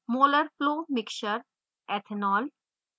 molar flow mixture/ethanol